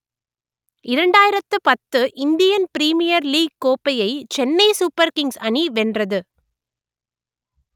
இரண்டாயிரத்து பத்து Indian Premier League கோப்பையை சென்னை சூப்பர் கிங்ஸ் அணி வென்றது